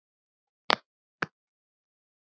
Og borða góðan mat.